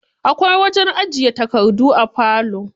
Akwai wajen ajiye takardu a falo.